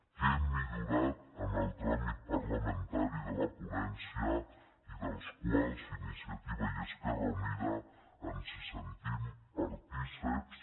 què hem millorat en el tràmit parlamentari de la ponència i de què iniciativa i esquerra unida ens sentim partícips